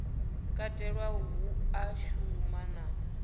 katelwa hu a shuma na